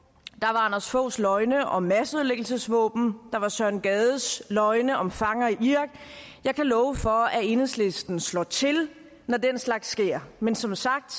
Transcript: anders foghs løgne om masseødelæggelsesvåben der var søren gades løgne om fanger i irak jeg kan love for at enhedslisten slår til når den slags sker men som sagt